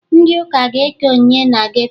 Ndị ụka ga-eke onyinye na geto